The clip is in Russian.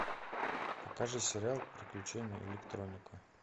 покажи сериал приключения электроника